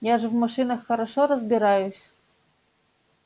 я же в машинах хорошо разбираюсь